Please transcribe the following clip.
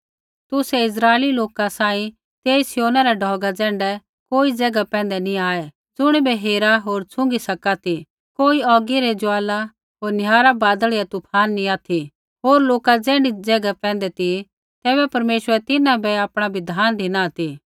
तुसै इस्राइली लोका सांही तेई सिय्योना रा ढौगा ज़ैण्ढै कोई ज़ैगा पैंधै नैंई आऐ ज़ुणिबै हेरा होर छुई सका ती कोई औगी री ज्वाला होर निहारा बादल या तूफान नैंई ऑथि होर लोका ऐण्ढी ज़ैगा पैंधै ती ज़ैबै परमेश्वरै तिन्हां बै आपणा बिधान धिना ती